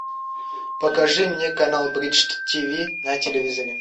покажи мне канал бридж тв на телевизоре